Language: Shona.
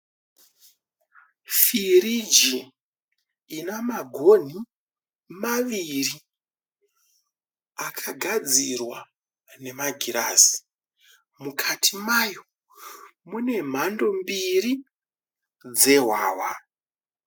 Firigi ina magonhi maviri akagadzirwa nemagirazi. Mukati mayo mune mhando mbiri dzehwahwa.